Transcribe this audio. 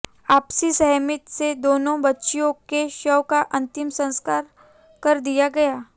आपसी सहमति से दोनो बच्चियों के शव का अंतिम संस्कार कर दिया गया